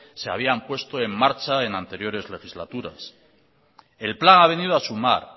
se habían puesto en marcha en anteriores legislaturas el plan ha venido a sumar